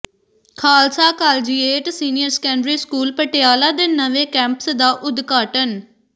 Khalsa collegiate senior secondary school Patiala ਦੇ ਨਵੇਂ campus ਦਾ ਉਦਘਾਟਨ